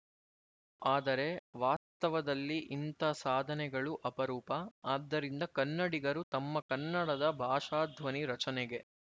ಆದರೆ ವಾಸ್ತವದಲ್ಲಿ ಇಂಥ ಸಾಧನೆಗಳು ಅಪರೂಪ ಆದ್ದರಿಂದ ಕನ್ನಡಿಗರು ತಮ್ಮ ಕನ್ನಡದ ಭಾಷಾಧ್ವನಿ ರಚನೆಗೆ